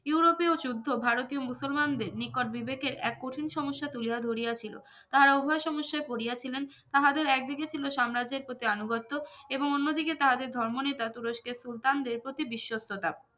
ইউরোপীয় যুদ্ধ ভারতীয় মুসলমানদের নিকট বিবেকের এক কঠিন সমস্যা তুলিয়া ধরিয়া ছিল তাহারা উভয়ে সমস্যায় পরিয়া ছিলেন তাহাদের এক দিকে ছিলো সাম্রাজ্যের প্রতি আনুগত্য এবং অন্যদিকে তাহাদের ধর্ম নেতা তুরস্কের সুলতানদের প্রতি বিশ্বস্ততা